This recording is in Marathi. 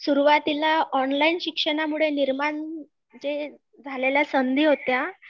सुरवातीला ऑनलाईन शिक्षणामुळे निर्माण जे झालेल्या संधी होत्या